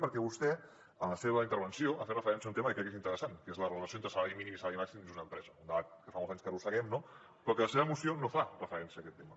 perquè vostè en la seva intervenció ha fet referència a un tema que crec que és interessant que és la relació entre salari mínim i salari màxim dins d’una empresa un debat que fa molts anys que arrosseguem no però la seva moció no fa referència a aquest tema